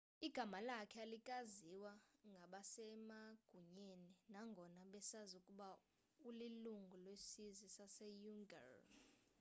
igama lakhe alikaziwa ngabasemagunyeni nangona besazi ukuba ulilungu lesizwe saseuighur